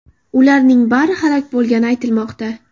Ularning bari halok bo‘lgani aytilmoqda .